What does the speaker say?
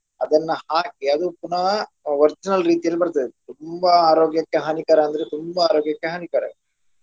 ಅದನ್ನ ಹಾಕಿ ಅದು ಪುನಃ original ರೀತಿಯಲ್ಲಿ ಬರ್ತದೆ ತುಂಬಾ ಆರೋಗ್ಯಕ್ಕೆ ಹಾನಿಕಾರ ಅಂದ್ರೆ ತುಂಬಾ ಆರೋಗ್ಯಕ್ಕೆ ಹಾನಿಕಾರ.